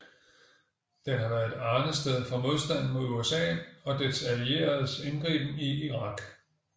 Den har været et arnested for modstanden mod USA og dets allieredes indgriben i Irak